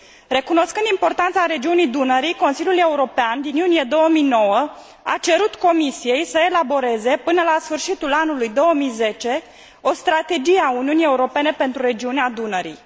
Recunoscând importanța regiunii Dunării, Consiliul European din iunie 2009 a cerut Comisiei să elaboreze, până la sfârșitul anului 2010, o strategie a Uniunii Europene pentru regiunea Dunării.